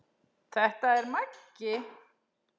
Þetta er Maggi!